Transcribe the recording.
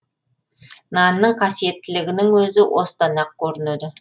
нанның қасиеттілігінің өзі осыдан ақ көрінеді